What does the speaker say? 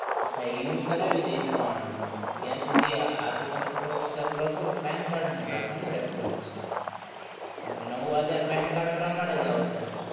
હા ઈ હું કરાવી દઈશ પણ ત્યાં સુધી આ તો તમે process ચાલુ રાખો તો pan card નું રાખોને reference કારણ કે નવું આધાર pan card પ્રમાણે જ આવશે